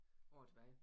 År tilbage